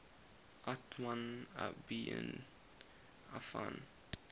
uthman ibn affan